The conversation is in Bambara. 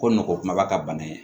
Ko nɔgɔ kumaba ka bana ye